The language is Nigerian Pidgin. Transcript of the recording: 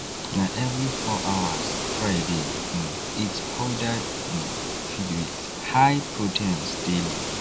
na every four hours Friday um eat powdered um feed with high proteins daily